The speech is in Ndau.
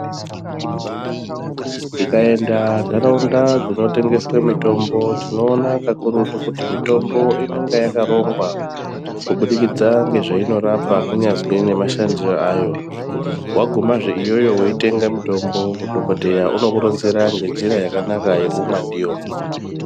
Tikaenda nharaunda dzinotengeswa mitombo tinoona kakurutu kuti mitombo inonga yakarongwa kubidikidza ngezvainorapa kunyazwi nemashandire ayo wagumazve iyoyo weitenga mutombo dhokodheya unokuronzera ngenjira yakanaka yekumwa ndiyo.